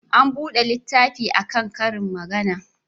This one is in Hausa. An buga littafi a kan karin magana.